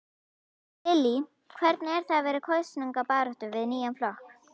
Lillý: Hvernig er það vera í kosningabaráttu fyrir nýjan flokk?